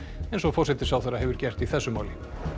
eins og forsætisráðherra hefur gert í þessu máli